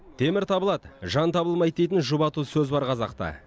темір табылады жан табылмайды дейтін жұбату сөз бар қазақта